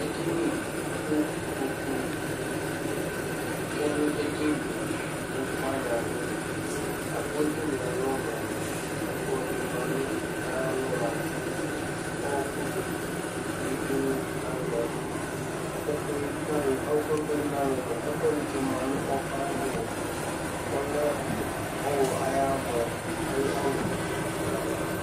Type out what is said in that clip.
Edini kʋ ikpokunɩ tsue nʋ edini yɛ Ikpoku wanɩ abʋ la kʋ edini yɛ alɔ mʋa, ɛkplɔ dɩ ma nʋ ayalɔ la kʋ ɔɣɔkʋ dɩ yǝdu nʋ alɔ yɛ Ɛkʋ yɛ ɔyǝdu nʋ alɔ yɛ, ɔɣɔkʋ yɛ kʋ ɔyǝdu nʋ alɔ yɛ mʋa, ɛkʋɛdɩ tsɩma nʋ ɔɣɔkʋ ayava mʋa, ɔlɛ ɔɣlɔ ayʋ amɔ ayʋ ɔlʋ la dʋ ayava